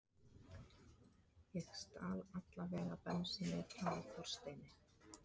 Ég stal alla vega bensíni frá Þorsteini.